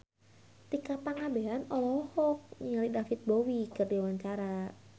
Tika Pangabean olohok ningali David Bowie keur diwawancara